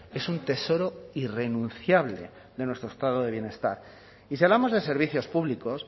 es un tesoro irrenunciable de nuestro estado de bienestar y si hablamos de servicios públicos